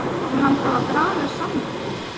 Er hann þá að draga saman lið?